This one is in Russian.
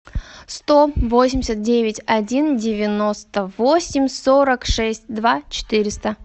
сто восемьдесят девять один девяносто восемь сорок шесть два четыреста